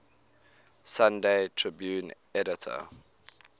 sunday tribune editor